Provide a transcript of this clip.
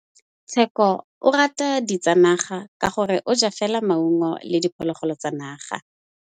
Tshekô o rata ditsanaga ka gore o ja fela maungo le diphologolo tsa naga.